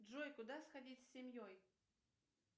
джой куда сходить с семьей